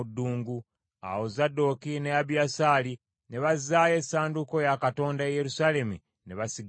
Awo Zadooki ne Abiyasaali ne bazzaayo essanduuko ya Katonda e Yerusaalemi ne basigala eyo.